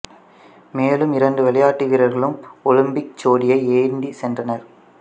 மேலும் இரண்டு விளையாட்டு வீரர்களும் ஒலிம்பிக் ஜோதியை ஏந்திச் சென்றனர்